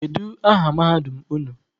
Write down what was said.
Kedu aha mahadum unu?